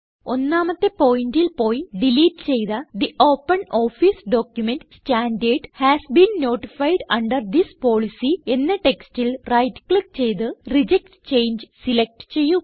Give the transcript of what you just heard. ഒന്നാമത്തെ പോയിന്റിൽ പോയി ഡിലീറ്റ് ചെയ്ത the OpenOffice document standard has been notified under this policy എന്ന ടെക്സ്റ്റിൽ റൈറ്റ് ക്ലിക്ക് ചെയ്ത് റിജക്ട് ചങ്ങെ സിലക്റ്റ് ചെയ്യുക